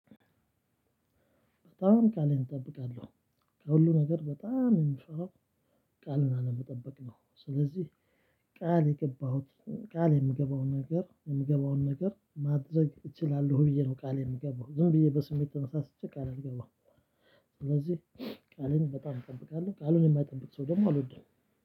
በጣም ቃሌን እንጠብቃለሁ ከሁሉ ነገር በጣም የምፈራው ቃልን አለመጠበቅ ነው። ስለዚህ ቃል የገባሁት ቃል የምገባውን ነገር የምገባውን ነገር ማድረግ እችላለሁ ብዬ ነው ቃሌን የምገባው ዝም ብዬ በስሜት ተነሳስቼ ቃል አልገባም። ስለዚህ ቃሌን በጣም እጠብቃለሁ ቃልን የማያጠብቅ ሰው ደግሞ አልወድም።